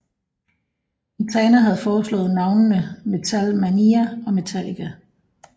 Quintana havde foreslået navnene Metal Mania og Metallica